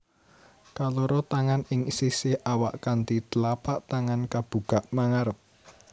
Kaloro tangan ing sisih awak kanthi tlapak tangan kabukak mangarep